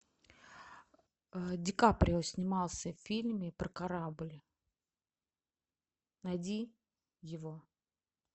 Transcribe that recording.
ди каприо снимался в фильме про корабль найди его